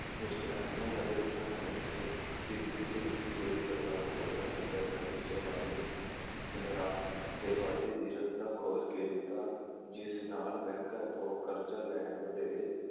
ਮੁਸ਼ਕਿਲਾਂ ਐਨੀਆਂ ਵੱਧ ਰਹੀਆ ਹਨ, ਜਿਵੇਂ ਹੋਈ ਸਰਕਾਰ ਤੋਂ ਪਹਿਲਾਂ ਬੈਂਕਾਂ ਵਿੱਚ ਦਰਾਂ ਦੇ ਵਾਧੇ ਦੀ ਰਸਤਾ ਖੋਲ੍ਹ ਕੇ ਦਿੱਤਾ, ਜਿਸ ਨਾਲ ਬੈਂਕਾਂ ਤੋਂ ਕਰਜ਼ਾ ਲੈਣ ਵਧੇਰੇ,